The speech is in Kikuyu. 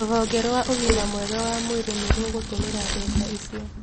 Rũhonge rwa ũgima mwega wa mwĩrĩ nĩ rũgũtũmĩra mbeca icio